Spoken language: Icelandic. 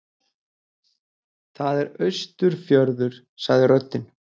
Það er Austurfjörður, sagði röddin.